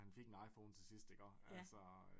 Men han fik en iPhone til sidst iggå altså